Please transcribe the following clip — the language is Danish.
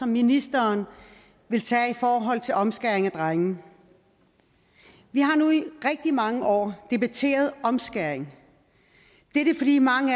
ministeren vil tage i forhold til omskæring af drenge vi har nu i rigtig mange år debatteret omskæring det er fordi mange